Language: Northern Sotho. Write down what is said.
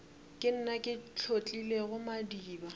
ke nna ke hlotlilego madiba